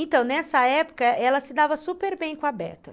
Então, nessa época, ela se dava super bem com a Beta.